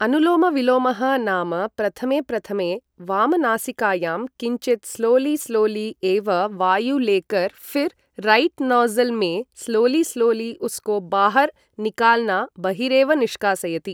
अनुलोमविलोमः नाम प्रथमे प्रथमे वामनासिकायां किञ्चित् स्लोलि स्लोलि एव वायु लेकर् फ़िर् रैट् नोज़ल् मे स्लोलि स्लोलि उस्को बाहर् निकाल्ना बहिरेव निष्कासयति